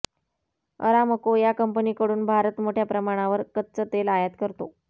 Aramco या कंपनीकडून भारत मोठ्या प्रमाणावर कच्चं तेल आयात करतो